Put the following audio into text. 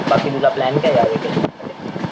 बाकी तुझा प्लॅन काये या व्हॅकेशन मध्ये?